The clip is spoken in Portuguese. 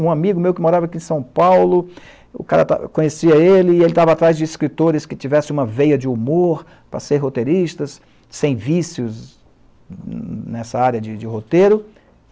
Um amigo meu que morava aqui em São Paulo, o cara conhecia ele e ele estava atrás de escritores que tivessem uma veia de humor para ser roteiristas, sem vícios nessa área de de roteiro.